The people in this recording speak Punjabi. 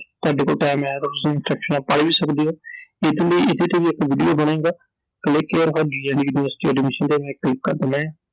ਤੁਹਾਡੇ ਕੋਲ Time ਹੈ ਤਾਂ ਤੁਸੀਂ Instructions ਪੜ੍ਹ ਵੀ ਸਕਦੇ ਓI ਇਹਦੇ ਤੇ ਇਹਦੇ ਤੇ ਵੀ ਇਕ ਵੀਡੀਓ ਬਣੇਗਾ I Click here forGNDU university Admission ਤੇ click ਕਰ ਦੇਣਾ ਏ ਆ I